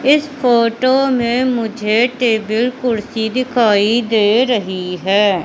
इस फोटो मे मुझे टेबल कुर्सी दिखाई दे रही हैं।